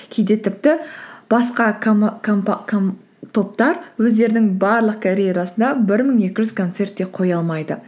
кейде тіпті басқа топтар өздерінің барлық карьерасында бір мың екі жүз концерт те қоя алмайды